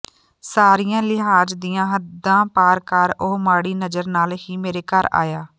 ਸਾਰੀਆਂ ਲਿਹਾਜ਼ ਦੀਆਂ ਹੱਦਾ ਪਾਰ ਕਰ ਉਹ ਮਾੜੀ ਨਜ਼ਰ ਨਾਲ ਹੀ ਮੇਰੇ ਘਰ ਆਇਆ